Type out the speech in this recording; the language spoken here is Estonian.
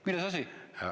Milles asi?